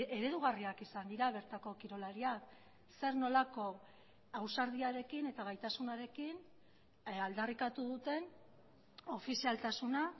eredugarriak izan dira bertako kirolariak zer nolako ausardiarekin eta gaitasunarekin aldarrikatu duten ofizialtasuna